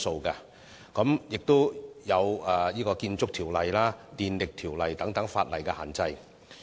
此外，也要考慮涉及建築物和電力的條例的限制。